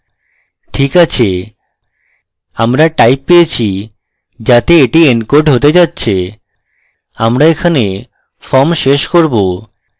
ঠিক আছে আমরা type পেয়েছি যাতে এটি এনকোড হতে যাচ্ছে আমরা এখানে form শেষ করব